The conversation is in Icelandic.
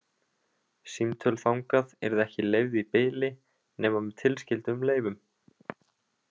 Símtöl þangað yrðu ekki leyfð í bili nema með tilskyldum leyfum.